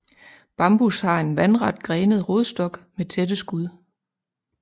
Bambus har en vandret grenet rodstok med tætte skud